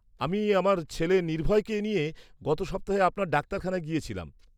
-আমি আমার ছেলে নির্ভয়কে নিয়ে গত সপ্তাহে আপনার ডাক্তারখানায় গিয়েছিলাম।